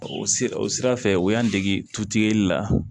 O sira o sira fɛ u y'an dege tutigɛli la